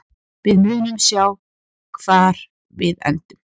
Við munum sjá hvar við endum.